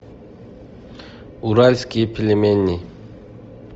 уральские пельмени